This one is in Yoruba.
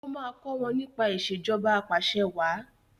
o má kò wón nípa Ìṣèjọba Apàṣẹwàá